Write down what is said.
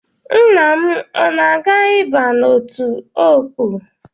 Nne m, o na-aga ịba n’otu Ọkpụ?